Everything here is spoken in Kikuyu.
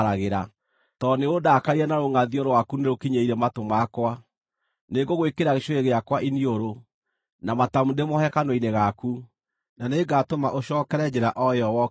Tondũ nĩũndakarĩire na rũngʼathio rwaku nĩrũkinyĩire matũ makwa, nĩngũgwĩkĩra gĩcũhĩ gĩakwa iniũrũ, na matamu ndĩmoohe kanua-inĩ gaku, na nĩngatũma ũcookere njĩra o ĩyo wokĩire.